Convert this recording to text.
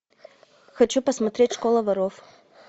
хочу посмотреть школа воров